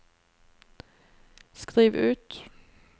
skriv ut